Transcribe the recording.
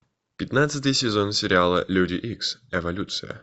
пятнадцатый сезон сериала люди икс эволюция